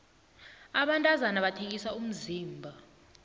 abantazana bathengisa umzimba